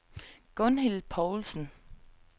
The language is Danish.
Gunhild Poulsen